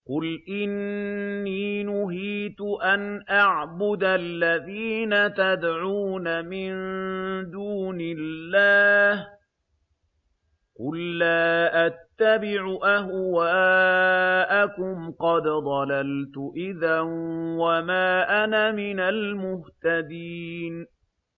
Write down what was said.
قُلْ إِنِّي نُهِيتُ أَنْ أَعْبُدَ الَّذِينَ تَدْعُونَ مِن دُونِ اللَّهِ ۚ قُل لَّا أَتَّبِعُ أَهْوَاءَكُمْ ۙ قَدْ ضَلَلْتُ إِذًا وَمَا أَنَا مِنَ الْمُهْتَدِينَ